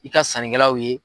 I ka sannikɛlaw ye.